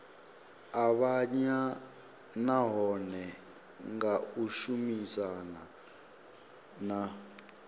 avhanya nahone nga tshumisano na